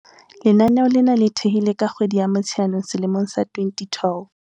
Lenaneo lena le thehilwe ka kgwedi ya Motsheanong selemong sa 2012.